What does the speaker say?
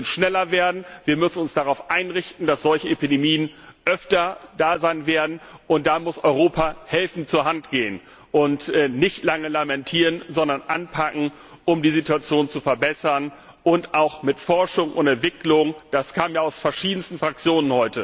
Wir müssen schneller werden, wir müssen uns darauf einrichten, dass solche Epidemien öfter da sein werden, und da muss Europa helfend zur Hand gehen und nicht lange lamentieren, sondern anpacken, um die Situation zu verbessern, auch mit Forschung und Entwicklung das kam ja heute aus verschiedensten Fraktionen.